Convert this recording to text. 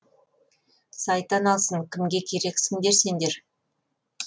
сайтан алсын кімге керексіңдер сендер